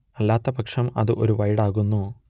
അല്ലാത്തപക്ഷം അത് ഒരു വൈഡാകുന്നു